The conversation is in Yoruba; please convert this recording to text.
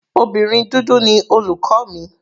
Obìnrin dúdú ni olùkọ́ mi.